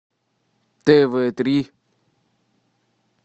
тв три